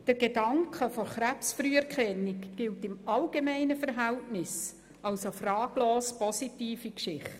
Der Gedanke von Krebs-Früherkennung gilt im allgemeinen Verhältnis als eine fraglos positive Geschichte.